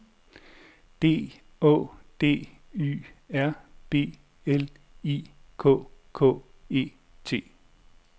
D Å D Y R B L I K K E T